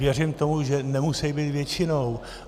Věřím tomu, že nemusejí být většinou.